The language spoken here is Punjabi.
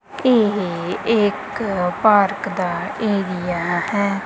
ਇਹ ਇਕ ਪਾਰਕ ਦਾ ਏਰੀਆ ਹੈ।